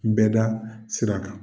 N bɛda sira kan.